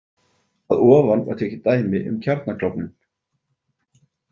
Að ofan var tekið dæmi um kjarnaklofnun.